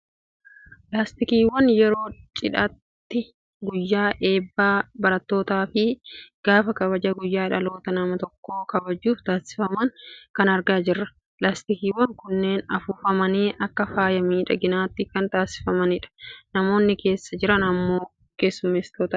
Laastikiiwwan yeroo cidhaatti, guyyaa eebba barattootaattii fi gaafa kabaja guyyaa dhalootaa nama tokkoo kabajuuf taasifaman kana argaa jirra. Laastikiiwwan kunneen afuufamanii akka faaya miidhaginaatti kan taasifamanidha. Namoonni keessa jiran immoo keessummootadha.